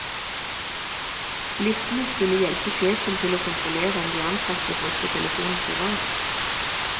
Listene skulle hjelpe sjefen til å kontrollere om de ansatte brukte telefonen privat.